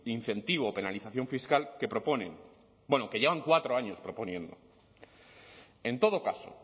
incentivo o penalización fiscal que proponen bueno que llevan cuatro años proponiendo en todo caso